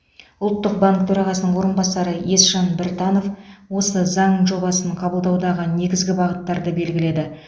ұлттық банк төрағасының орынбасары есжан біртанов осы заң жобасын қабылдаудағы негізгі бағыттарды белгіледі